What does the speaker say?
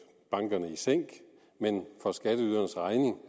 bankerne i sænk men for skatteydernes regning